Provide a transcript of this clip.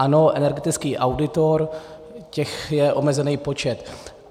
Ano, energetický auditor - těch je omezený počet.